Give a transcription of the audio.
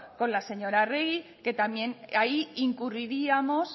con la señora arregi que también ahí incurriríamos